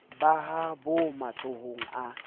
ba ha bo matsohong a